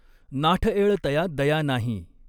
नाठएळ तया दया नाहीं।